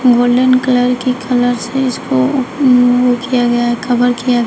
golden colour की colour से इसको ओ किया गया है कभर किया गया--